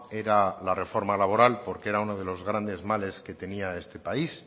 era la reforma laboral porque era uno de los grandes males que tenía este país